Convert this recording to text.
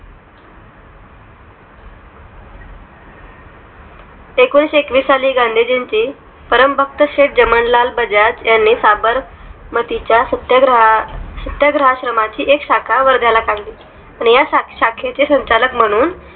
एकोणीस एकवीस साली गांधीजींची परम भक्त शेठ जमनालाल बजाज यांनी साबर मग तिच्या सत्याग्रह सत्याग्रह आश्रमा ची एक शाखा वर्धा ला काढली त्या शाखेचे संचालक म्हणून